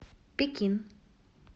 пекин